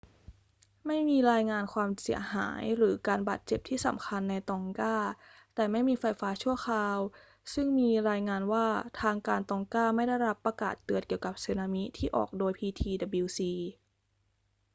ไม่มีรายงานความเสียหายหรือการบาดเจ็บที่สำคัญในตองกา แต่ไม่มีไฟฟ้าชั่วคราว ซึ่งมีรายงานว่าทางการตองกาไม่ได้รับประกาศเตือนเกี่ยวกับสึนามิที่ออกโดย ptwc